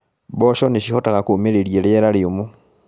Mboco nĩcihotaga kũumĩrĩria riera rĩũmũ.